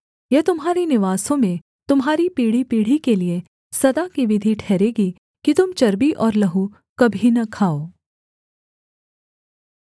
यह तुम्हारे निवासों में तुम्हारी पीढ़ीपीढ़ी के लिये सदा की विधि ठहरेगी कि तुम चर्बी और लहू कभी न खाओ